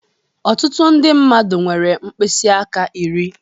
Ọtụtụ ndị mmadụ nwere mkpịsị aka iri.